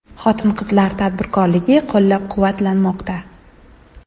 Xotin-qizlar tadbirkorligi qo‘llab-quvvatlanmoqda.